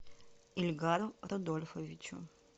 ильгару рудольфовичу